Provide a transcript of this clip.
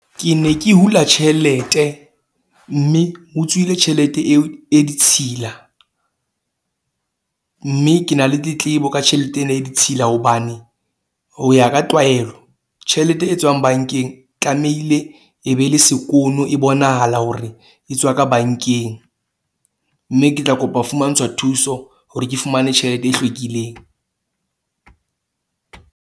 Ke ne ke hula tjhelete mme ho tswile tjhelete eo e ditshila. Mme ke na le tletlebo ka tjhelete ena e ditshila. Hobane ho ya ka tlwaelo, tjhelete e tswang bank-eng tlamehile e be le sekono, e bonahala hore e tswa ka bank-eng. Mme ke tla kopa ho fumantshwa thuso hore ke fumane tjhelete e hlwekileng.